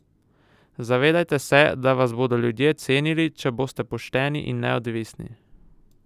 Zavedajte se, da vas bodo ljudje cenili, če boste pošteni in neodvisni!